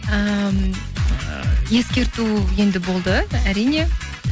ыыы ескерту енді болды әрине